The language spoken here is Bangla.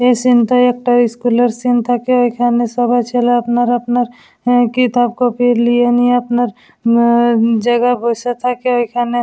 এই সিন্ -টায় একটা স্কুল -এর সিন থাকে এইখানে সবাই ছেলে আপনার আপনার উ কেতাব কপি লিয়ে নিয়ে আপনার উম জায়গায় বসে থাকে। এখানে--